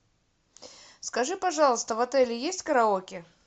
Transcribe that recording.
скажи пожалуйста в отеле есть караоке